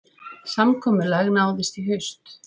Samkomulag náðist í haust